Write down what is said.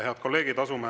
Head kolleegid!